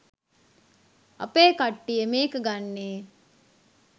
අපේ කට්ටිය මේක ගන්නෙ